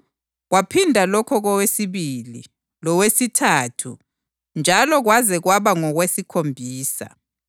Kwaphinda lokho kowesibili lowesithathu njalo kwaze kwaba ngowesikhombisa.